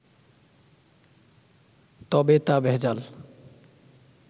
তবে তা ভেজাল